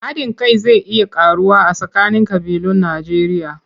Haɗin kai zai iya ƙaruwa a tsakanin ƙabilun Najjeriya.